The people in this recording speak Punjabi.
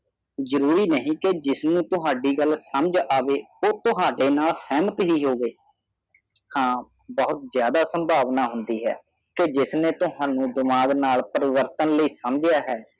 ਜਰੂਰੀ ਨਹੀਂ ਕੇ ਜਿਸਨੂੰ ਤੁਹਾਡੀ ਗੱਲ ਸਮਝ ਆਵੇ ਓ ਤੁਹਾਡੇ ਨਾਲ ਸਹਮਤ ਹੀ ਹੋਵੇ ਹਾਂ ਬਹੁਤ ਜਿਆਦਾ ਸੰਭਾਵਨਾ ਹੁੰਦੀ ਹੈ ਕਿ ਜਿਸਨੇ ਤੁਹਾਨੂੰ ਦਿਮਾਗ ਨਾਲ ਪ੍ਰਵਰਤਨ ਲਈ ਸਮਝਿਆ ਹੈ